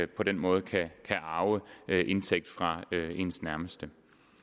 på den måde kan arve indtægt fra ens nærmeste